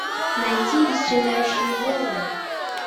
найти исчезающие волны